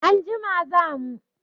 Anjima za mu.